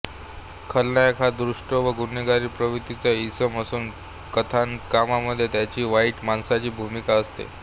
खलनायक हा दुष्ट व गुन्हेगारी प्रवृत्तीचा इसम असून कथानकामध्ये त्याची वाईट माणसाची भूमिका असते